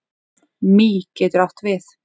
Mý getur átt við